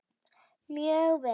Mjög vel.